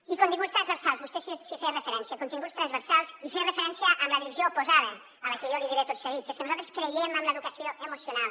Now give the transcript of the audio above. i continguts transversals vostè hi feia referència continguts transversals i en feia referència en la direcció oposada a la que jo li diré tot seguit que és que nosaltres creiem en l’educació emocional